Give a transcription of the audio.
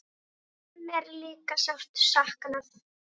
Þín er líka sárt saknað.